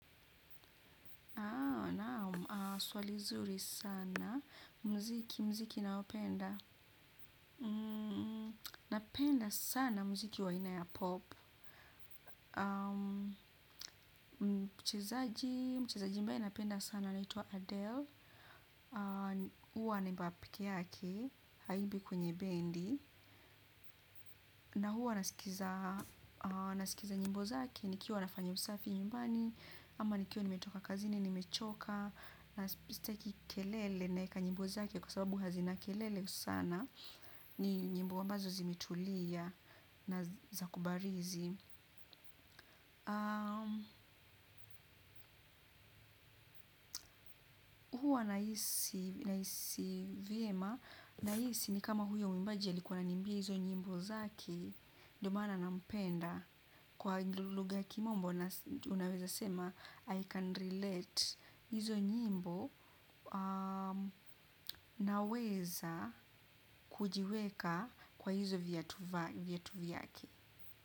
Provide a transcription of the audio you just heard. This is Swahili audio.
Naam, swali zuri sana, mziki, mziki ninaopenda, napenda sana mziki wa aina ya 'pop'. Mchezaji, mchezaji ambaye napenda sana anaitwa Adele. Huwa anaimba peke yake, haimbi kwenye bendi. Na huwa nasikiza nyimbo zake, nikiwa nafanya usafi nyumbani, ama nikiwa nimetoka kazini nimechoka, na sitaki kelele naeka nyimbo zake kwa sababu hazina kelele sana. Ni nyimbo ambazo zimetulia na za kubarizi. Huwa nahisi vyema, nahisi ni kama huyo mwibaji alikuwa ananimbiia hizo nyimbo zake. Ndio maana nampenda kwa lugha ya kimombo unaweza sema 'I can relate.' hizo nyimbo, naweza kujiweka kwa hizo viatu vyake.